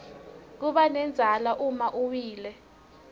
kubanendzala uma uwile